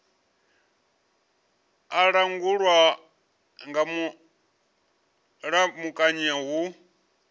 a langulwa nga mulamukanyi hu